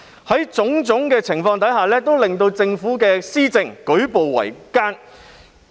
這種種情況都令政府施政舉步維艱。